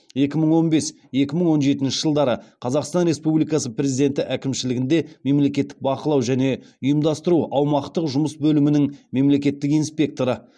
екі мың он бес екі мың он жетінші жылдары қазақстан республикасы президенті әкімшілігінде мемлекеттік бақылау және ұйымдастыру аумақтық жұмыс бөлімінің мемлекеттік инспекторы